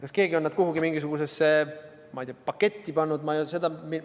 Kas keegi on nad kuhugi mingisugusesse, ma ei tea, paketti pannud – ma ei tea seda ...